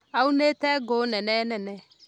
Aunĩte ngũnene nene